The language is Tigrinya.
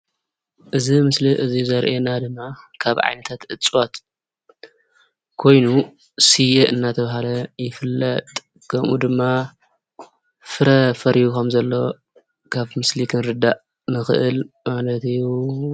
እዚ ምስሊ ዘሪኣና ድማ ካብ ዓይነታት እፅዋት ኮይኑ ስየ እንዳተባሀለ ይፍለጥ ከምኡ ድማ ፍረ-ፈርዩ ከም ዘሎ ካብቲ ምስሊ ክንርዳእ ንክእል ማለት እዩ።